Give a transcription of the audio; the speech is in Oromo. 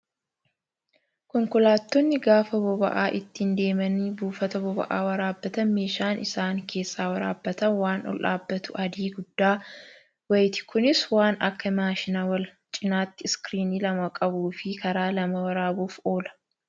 Konkolaattonni gaafa boba'aa ittiin deemanii buufata bob'aa waraabbatan meeshaan isaan keessaa waraabbatan waan ol dhaabbatu adii guddaa wayiiti. Kunis waan akka maashina wal cinaatti iskiriinii lama qabuu fi karaa lama waraabuuf oola.